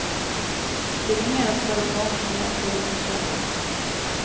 De ringer og spør om lånet kommer før de får søkt.